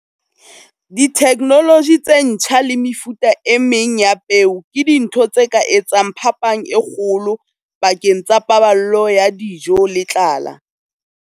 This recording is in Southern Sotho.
Ditheknoloji tse ntjha le mefuta e meng ya peo ke dintho tse ka etsang phapang e kgolo pakeng tsa paballo ya dijo le tlala.